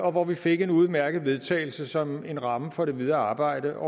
og hvor vi fik en udmærket vedtagelse som en ramme for det videre arbejde